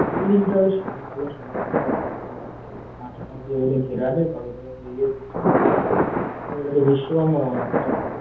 Building - টা সাদা কালো সাদা কালো কালার টা লাগছে কাঁচ পাঁচ দিয়ে বোধহয় ঘেরা আছে সবাই র যাচ্ছে আর এটা তো বিশ্ব বাংলা মনে হচ্ছে আমাদের ।